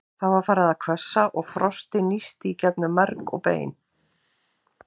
Það var farið að hvessa og frostið nísti í gegnum merg og bein.